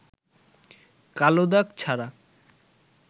কালো দাগ ছাড়া